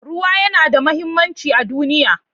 Ruwa yana da muhimmanci a duniya.